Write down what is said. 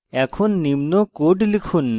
এখন code লিখুন